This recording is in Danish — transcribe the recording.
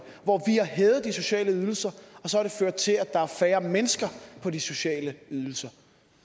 hvor har hævet de sociale ydelser og så har det ført til at der er færre mennesker på de sociale ydelser